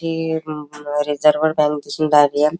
ही अम अ reserve bank दिसून --